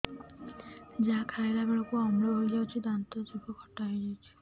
ଯାହା ଖାଇଲା ବେଳକୁ ଅମ୍ଳ ହେଇଯାଉଛି ଦାନ୍ତ ଜିଭ ଖଟା ହେଇଯାଉଛି